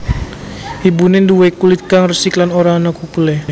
Ibune nduwe kulit kang resik lan ora ana kukulé